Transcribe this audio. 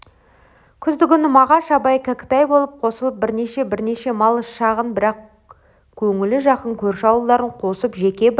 күздігүні мағаш абай кәкітай болып қосылып және бірнеше малы шағын бірақ көңілі жақын көрші ауылдарын қосып жеке бір